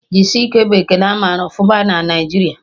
Jisike' bụ ekele amara ọfụma na Naijiria